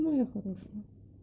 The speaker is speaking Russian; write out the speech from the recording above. моя хорошая